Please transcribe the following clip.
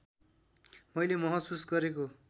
मैले महसुस गरेको